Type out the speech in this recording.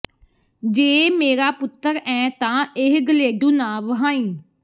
ਜੇ ਮੇਰਾ ਪੁੱਤਰ ਐਂ ਤਾਂ ਇਹ ਗਲੇਡੂ ਨਾ ਵਹਾਈੰ